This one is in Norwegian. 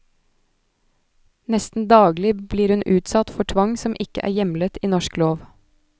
Nesten daglig blir hun utsatt for tvang som ikke er hjemlet i norsk lov.